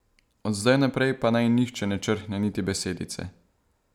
Od zdaj naprej pa naj nihče ne črhne niti besedice!